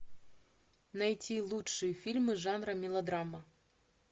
найти лучшие фильмы жанра мелодрама